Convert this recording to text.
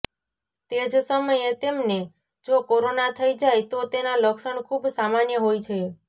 તે જ સમયે તેમને જો કોરોના થઇ જાય તો તેના લક્ષણ ખૂબ સામાન્ય હોય છે